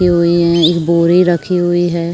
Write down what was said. एक बोरी रखी हुई है।